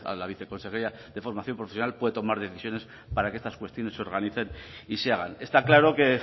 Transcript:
la viceconsejería de formación profesional puede tomar decisiones para que estas cuestiones se organicen y se hagan está claro que